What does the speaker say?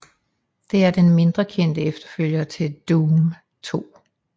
Det er den mindre kendte efterfølger til Doom II